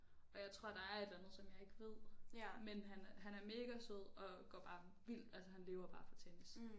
Og jeg tror der er et eller andet som jeg ikke ved men han er han mega sød og går bare vildt altså han lever bare for tennis